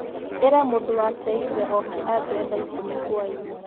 ĩra mũndũ wa tegithi oke ajoye thaa ikũmi hwaĩinĩ